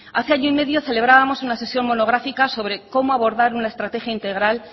hace año y medio celebrábamos una sesión monográfica sobre cómo abordar una estrategia integral